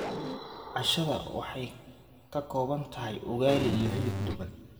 Cashada waxay ka kooban tahay ugali iyo hilib duban.